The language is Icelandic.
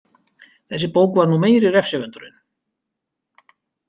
Þessi bók var nú meiri refsivöndurinn.